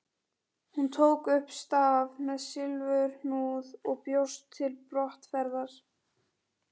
Hún tók upp staf með silfurhnúð og bjóst til brottferðar.